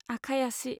आखाइ आसि